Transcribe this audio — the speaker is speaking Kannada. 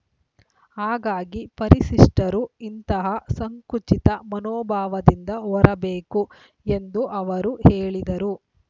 ಹಾಗಾಗಿ ಪರಿಶಿಷ್ಟರು ಇಂತಹ ಸಂಕುಚಿತ ಮನೋಭಾವದಿಂದ ಹೊರಬೇಕು ಎಂದು ಅವರು ಹೇಳಿದರು